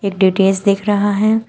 एक डी_टी_एच दिख रहा है।